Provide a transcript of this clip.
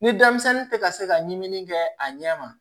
Ni denmisɛnnin tɛ ka se ka ɲimini kɛ a ɲɛ ma